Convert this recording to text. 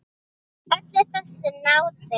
Öllu þessu náðu þeir.